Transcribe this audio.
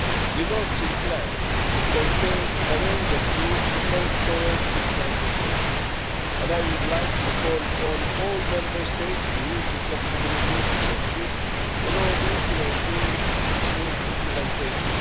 The North Sea plan contains a range of tools to help towards this transition, and I would like to call on all Member States to use the flexibilities which exist in order to ensure smooth implementation.